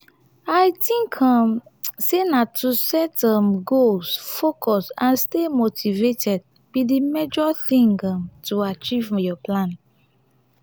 i think um say na to set um goals focus and stay motivated be di major thing um to achieve your plan.